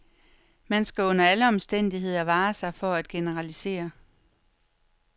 Man skal under alle omstændigheder vare sig for at generalisere.